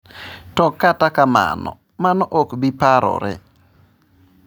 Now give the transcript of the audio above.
To kata kamano, mano ok bi parore.